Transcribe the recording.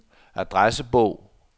adressebog